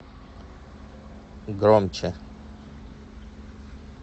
громче